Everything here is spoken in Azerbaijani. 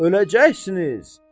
Öləcəksiniz.